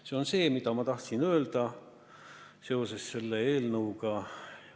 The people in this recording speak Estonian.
See on see, mida ma tahtsin öelda seoses selle eelnõuga.